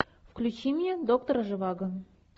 включи мне доктор живаго